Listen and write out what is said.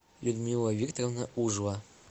людмила викторовна ужова